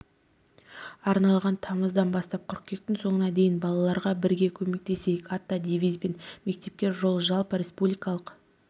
арналған тамыздан бастап қыркүйектің соңына дейін балаларға бірге көмектесейік атты девизбен мектепке жол жалпы республикалық